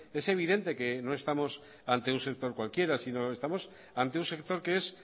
es evidente que no estamos ante un sector cualquiera sino estamos ante un sector que es